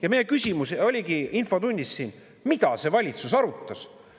Ja meie küsimus oligi siin infotunnis, mida valitsus arutas.